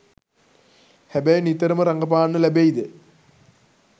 හැබැයි නිතරම රඟපාන්න ලැබෙයිද